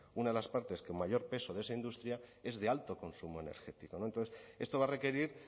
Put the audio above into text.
una de las partes que mayor peso de esa industria es de alto consumo energético no entonces esto va a requerir